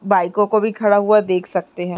बाइकों को भी खड़ा हुआ देख सकते हैं।